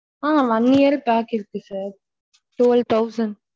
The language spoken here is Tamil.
ஆஹ் one year pack இருக்கு sir twelve thousand.